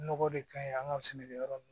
Nɔgɔ de ka ɲi an ka sɛnɛkɛyɔrɔ